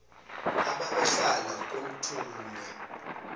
ababehlala komlthulu mhye